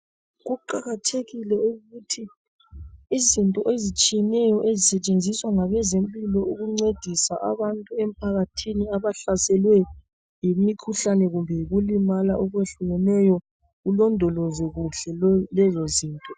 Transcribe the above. Kuqakathekile ukuthi izinto ezitshiyeneyo ezisetshenziswa ngabezempilo ukuncedisa abantu emphakathini abahlaselwe yimikhuhlane kumbe yikulimala okwehlukeneyo kulondolozwe kuhle lezozinto.